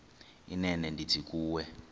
inene ndithi kuwe